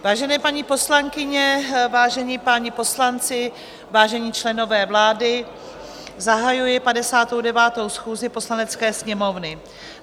Vážené paní poslankyně, vážení páni poslanci, vážení členové vlády, zahajuji 59. schůzi Poslanecké sněmovny.